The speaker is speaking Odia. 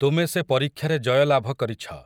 ତୁମେ ସେ ପରୀକ୍ଷାରେ ଜୟଲାଭ କରିଛ ।